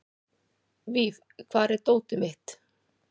Víf, hvar er dótið mitt?